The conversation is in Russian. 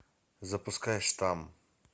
запускай штамм